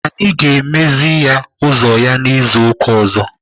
Anyị ga-emeziri ya ụzọ ya izu ụka ọzọ.